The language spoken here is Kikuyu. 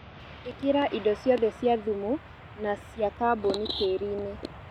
ĩkĩra indo ciothe cia thumu na cia kaboni tĩriinĩ